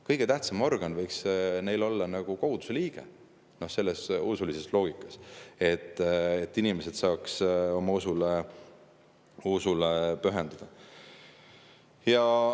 Kõige tähtsam organ võiks neil olla koguduse liige selles usulises loogikas, et inimesed saaksid oma usule pühenduda.